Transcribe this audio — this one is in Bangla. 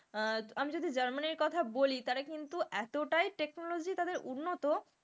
আহ আমি যদি জার্মানির কথা বলি তারা কিন্তু এতটাই technology তাদের উন্নত,